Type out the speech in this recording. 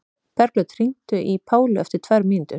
Bergljót, hringdu í Pálu eftir tvær mínútur.